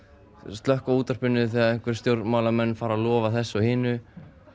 slökkva á útvarpinu þegar einhverjir stjórnmálamenn fara að lofa þessu og hinu